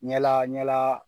Ɲala ɲalaa